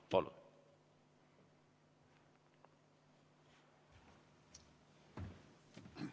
Palun!